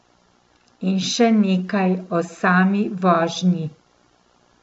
In še nekaj o sami vožnji.